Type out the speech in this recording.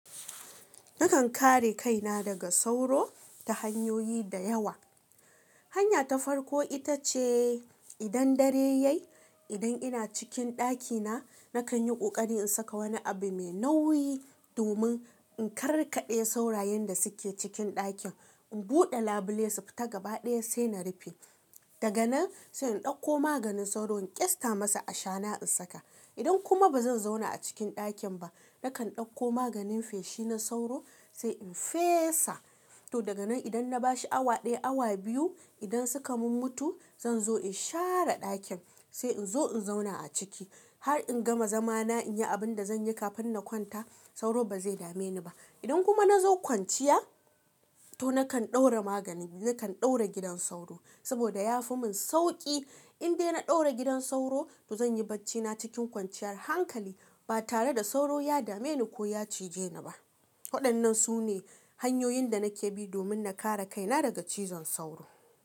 Nakan kare kaina daga sauro ta hanyoyi da yawa. Hanya ta farko ita ce idan dare ya yi, idan ina cikin ɗakina, nakan yi ƙoƙari in saka wani abu mai nauyi domin in karkaɗe saurayen da suke cikin ɗakin. In buɗe labule su fita gaba ɗaya sai na rufe. Daga nan sai in ɗauko maganin sauro in ƙyasta masa ashana in saka. Idan kuma ba zan zauna a cikin ɗakin ba, nakan ɗauko maganin feshi na sauro sai in fesa. To daga nan idan na bashi awa ɗaya, awa biyu, idan suka mum mutu zan zo in share ɗakin sai in zo in zauna a ciki har in gama zamana in yi abin da zan yi kafin na kwanta sauro ba zai dame ni ba. Idan kuma na zo kwanciya to nakan ɗaura magani, nakan ɗaura gidan sauro saboda ya fi mun sauƙi. Indai na ɗaura gidan sauro to zan yi bacina cikin kwanciyar hankali ba tare da sauro ya dame ni ko ya cije ni ba. Waɗannan su ne hanyoyin da nake bi domin na kare kaina daga cizon sauro.